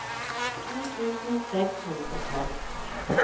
to tusen seks hundre og tolv